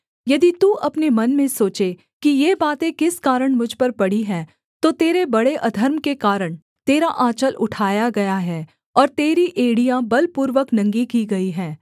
यदि तू अपने मन में सोचे कि ये बातें किस कारण मुझ पर पड़ी हैं तो तेरे बड़े अधर्म के कारण तेरा आँचल उठाया गया है और तेरी एड़ियाँ बलपूर्वक नंगी की गई हैं